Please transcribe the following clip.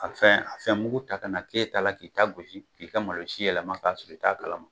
A fɛn a fɛn mugu ta ka na ke ta la k'i ta gosi k'i ka malo si yɛlɛma k'a sɔrɔ i t'a kala ma